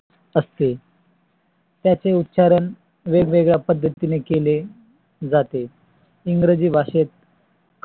व्यापीत चिन्हाने दाखविले गेले तरी त्याचे मूल्य व कार्य भिन्न असते. क चे उच्चारण वेगवेगळ्या पद्धतीने केले जाते. english भाषेत